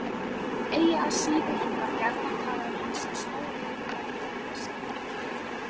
Eigi að síður var gjarnan talað um hann sem stórhættulegan byltingarsinna.